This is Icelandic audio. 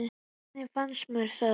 Hvernig fannst mér það?